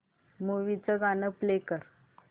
movie चं गाणं play कर